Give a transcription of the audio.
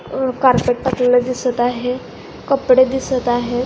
अ carpet टाकलेल दिसत आहे कपडे दिसत आहेत.